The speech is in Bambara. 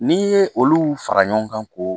N'i ye olu fara ɲɔgɔn kan k'o